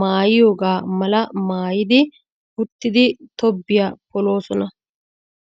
maayiyogaa mala maayidi uttidi tobbiya poloosona.